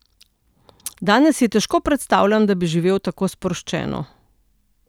Danes si težko predstavljam, da bi živeli tako sproščeno.